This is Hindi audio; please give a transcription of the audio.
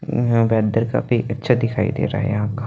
यहा बन्दर का भी बच्चा दिखाई दे रहा हैं यहा का --